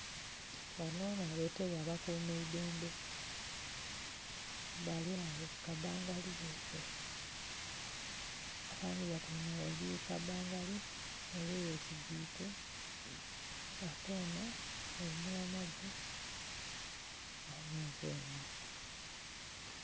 Bano na betebwa abakuma idhembe bali agho ku kabangali yeibwe. Abandhi batyeime gheigulu ku kabangali ole yesigike ate ono omunamagye alinze enno.